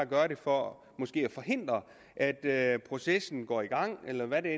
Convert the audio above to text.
gøre det for måske at forhindre at at processen går i gang eller hvad det